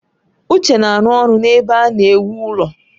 Uche na-arụ ọrụ n'ebe a na-ewu ụlọ